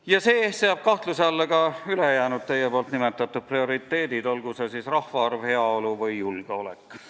Ja see seab kahtluse alla ka ülejäänud teie nimetatud prioriteedid, olgu see siis suurem rahvaarv, heaolu või julgeolek.